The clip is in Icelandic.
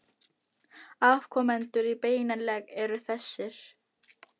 Afkomendur í beinan legg eru þessir